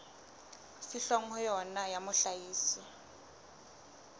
fihlwang ho yona ya mohlahisi